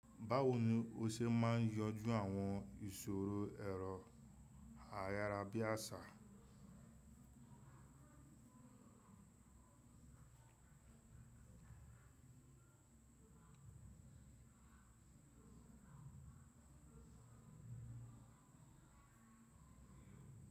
Báwo ni o ṣe máa ń yanjú àwọn ìṣòro ẹ̀rọ ayárabíàṣá?